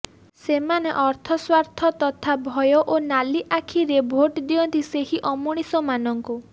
ସେମାନେ ଅର୍ଥ ସ୍ୱାର୍ଥ ତଥା ଭୟ ଓ ନାଲିଆଖିରେ ଭୋଟ ଦିଅନ୍ତି ସେହି ଅମଣିଷମାନଙ୍କୁ